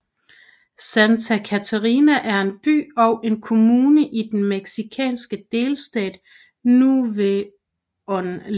Santa Catarina er en by og en kommune i den mexikanske delstat Nuevo León